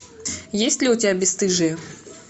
есть ли у тебя бесстыжие